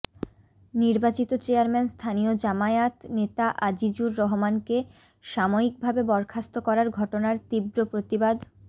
নির্বাচিত চেয়ারম্যান স্থানীয় জামায়াত নেতা আজিজুর রহমানকে সাময়িকভাবে বরখাস্ত করার ঘটনার তীব্র প্রতিবাদ